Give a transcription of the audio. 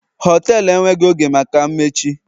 họtelu enweghị oge maka mmechi